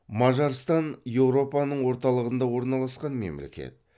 мажарстан еуропаның орталығында орналасқан мемлекет